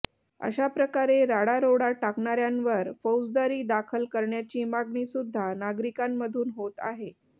अशा प्रकारे राडारोडा टाकणाऱ्यांवर फौजदारी दाखल करण्याची मागणी सुद्धा नागरिकांमधून होत आहे